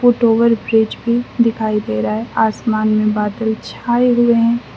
Foot over bridge भी दिखाई दे रहा है आसमान में बादल छाए हुए हैं।